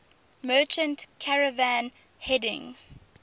merchant caravan heading